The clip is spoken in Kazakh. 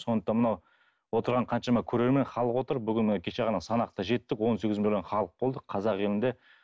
сондықтан мынау отырған қаншама көрермен халық отыр бүгін міне кеше ғана санақта жеттік он сегіз миллион халық болдық қазақ елінде